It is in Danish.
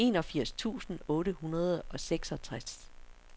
enogfirs tusind otte hundrede og seksogtres